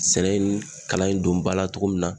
Sɛnɛ in kalan in don ba la togo min na